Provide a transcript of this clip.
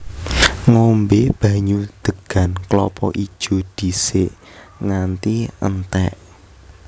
Ngombé banyu degan klapa ijo dhisik nganti entèk